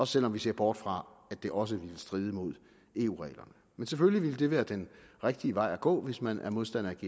selv om vi ser bort fra at det også ville stride mod eu reglerne men selvfølgelig ville det være den rigtige vej at gå hvis man er modstander af